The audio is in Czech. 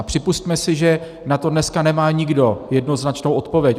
A připusťme si, že na to dneska nemá nikdo jednoznačnou odpověď.